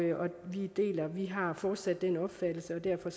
vi har fortsat den opfattelse derfor